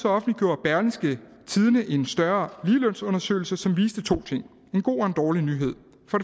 offentliggjorde berlingske en større ligelønsundersøgelse som viste to ting en god og en dårlig nyhed